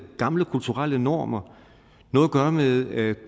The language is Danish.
gamle kulturelle normer noget at gøre med at